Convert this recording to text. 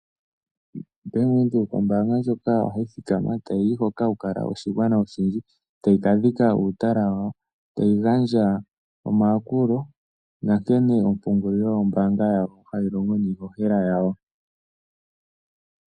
Bank Windhoek ombaanga ndjoka ohayi thikama ta yiyi hoka haku kala oshigwana oshi ndji, tayi ka dhika uutala wawo tayi gandja omayakulo nankene ompungulilo yombaanga yawo hayi longo niihohela yawo.